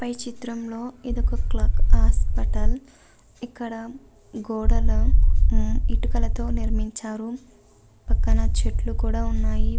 పై చిత్రంలో ఇదొక clock hospital ఇక్కడ గోడల ఉమ్ ఇటుకలతో నిర్మించారు పక్కన చెట్లు కూడా ఉన్నాయి.